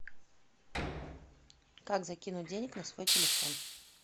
как закинуть денег на свой телефон